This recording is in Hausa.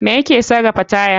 Me ya ke sarafa taya?